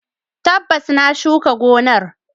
Tabbas, na shuka gonar.